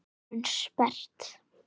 Eyrun sperrt.